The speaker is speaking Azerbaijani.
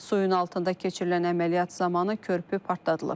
Suyun altında keçirilən əməliyyat zamanı körpü partladılıb.